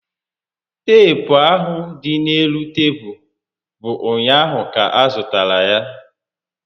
Teepu ahụ dị n'elu tebulu bụ ụnyaahụ ka a zụtara ya